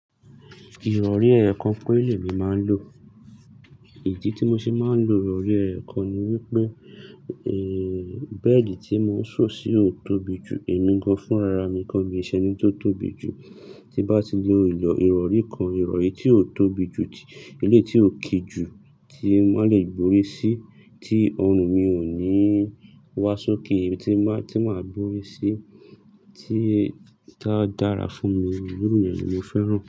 Ìrọ̀rí ẹ̀ẹ̀kan pe lẹ́ mi máa ń lò. Ìdí tí mo ṣe máa ń lò ìrọ̀rí ẹ̀ẹ̀kan ni wípé, eh, bẹ́ẹ̀dì tí mò ń ṣun sì ó tóbi jù èmi gan-an fúnrararmi, kó ṣe ẹni tó tóbi jù. Tí bá ti lo ìrọ̀rí kan, ìrọ̀rí tí ó tóbi jù, iléyi tí ó kí jù tí won le gbórí sí, tí ọrùn mi ò ní wá ṣókè, tí màá, tí màá gbórí sí, tí a dára fún mi, irú yen ni mo fẹ́ràn.